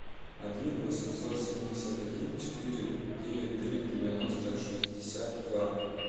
один восемьсот семьдесят один четыре девять три девяносто шестьдесят два